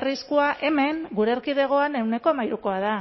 arriskua hemen gure erkidegoan ehuneko hamairukoa da